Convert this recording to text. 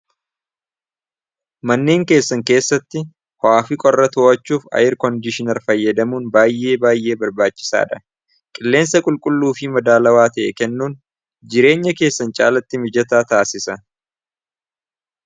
Manneen keessan keessatti ho'aa fi qorra to'achuuf ayirkondiishinara fayyadamuun baay'ee baay'ee barbaachisaadha. Qilleensa qulqulluu fi madaalawaa ta'e kennuun jireenya keessan caalatti mijataa taassisa.